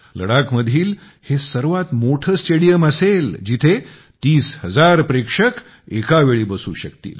लडाखमधील हे सर्वात मोठे स्टेडियम असेल जिथे तीस हजार प्रेक्षक एका वेळी बसू शकतील